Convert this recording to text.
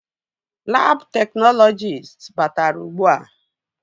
Labụ teknọlọjist batara ugbua